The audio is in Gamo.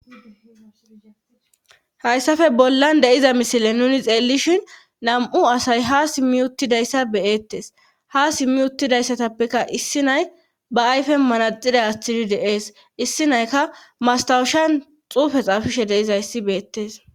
Hayssafe bollan deiza misile nuni xeellishin nam7u asay ha simmi uttidayssa beyettes ha simmi uttidayssatappeka issi nay ba ayfe manaxida astidi deees issi naykka mastawushan xuufe xaafishe deiza yssi beettes.